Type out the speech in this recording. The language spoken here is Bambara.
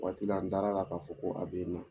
Waati la an dar'a la k'a fɔ ko a bɛ yen nɔ